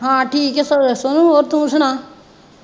ਹਾਂ ਠੀਕ ਹੈ ਸੋ ਸੋਨੂੰ ਹੋਰ ਤੂੰ ਸੁਣਾ।